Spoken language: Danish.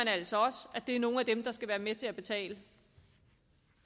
altså også at det er nogle af dem der skal være med til at betale